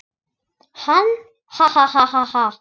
Hann: Ha ha ha.